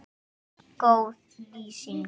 Góð lýsing?